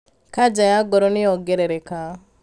kanja ya ngoro nĩyongerereka